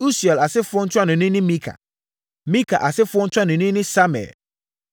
Usiel asefoɔ ntuanoni ne Mika. Mika asefoɔ ntuanoni ne Samir